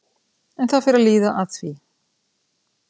En það fer að líða að því.